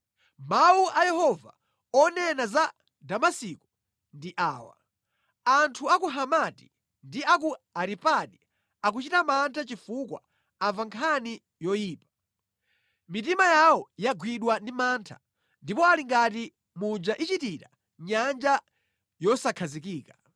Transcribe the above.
Mawu a Yehova onena za Damasiko ndi awa: “Anthu a ku Hamati ndi a ku Aripadi akuchita mantha chifukwa amva nkhani yoyipa. Mitima yawo yagwidwa ndi mantha ndipo ali ngati muja ichitira nyanja yosakhazikika.